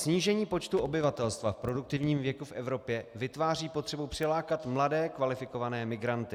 "Snížení počtu obyvatelstva v produktivním věku v Evropě vytváří potřebu přilákat mladé kvalifikované migranty."